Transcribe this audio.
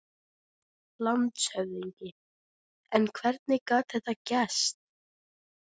LANDSHÖFÐINGI: En hvernig gat þetta gerst?